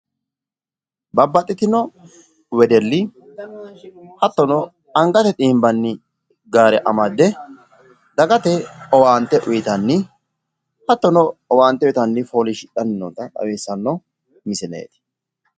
Babbaxxitino wedelli hattono angate xiimbanni gaare amadde dagate owaante uytanni hattono owaante uytanna leellishshanno misileeti.